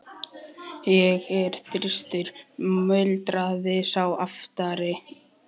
Ég er þyrstur muldraði sá aftari.